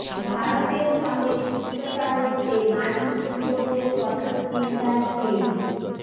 ভারতের সঙ্গে তিক্ততা রুখতে মার্কিন রিপোর্টের কঠোর নিন্দায় চিন